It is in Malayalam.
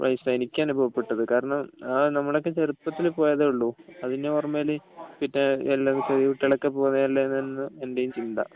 എനിക്ക് അനുഭവപ്പെട്ടത് കാരണം നമ്മളൊക്കെ ചെറുപ്പത്തി പോയതേ ഉള്ളൂ അതിനു മുന്നേ കുട്ടികളൊക്കെ പോകുന്നതല്ല എന്നായിരുന്നു എന്റെയും ചിന്ത